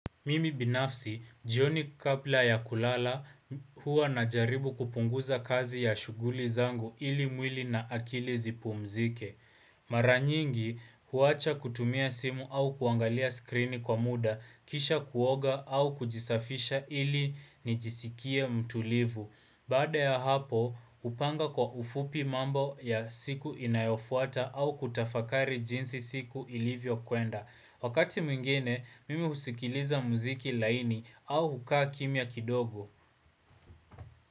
Mimi binafsi, jioni kabla ya kulala huwa najaribu kupunguza kazi ya shughuli zangu ili mwili na akili zipumzike. Mara nyingi, huwacha kutumia simu au kuangalia skrini kwa muda, kisha kuoga au kujisafisha ili nijisikie mtulivu. Baada ya hapo, hupanga kwa ufupi mambo ya siku inayofuata au kutafakari jinsi siku ilivyo kwenda. Wakati mwingine, mimi husikiliza muziki laini au hukaa kimya kidogo.